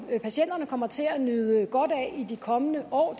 patienterne kommer til at nyde godt af i de kommende år